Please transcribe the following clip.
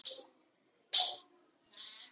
Rétt athugað hjá þér góði vinur.